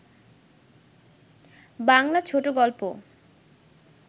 বাংলা ছোট গল্প